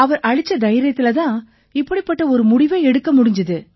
அவர் அளிச்ச தைரியத்தில தான் இப்படிப்பட்ட ஒரு முடிவை எடுக்க முடிஞ்சுது